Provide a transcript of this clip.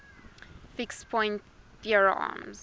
fixed point theorems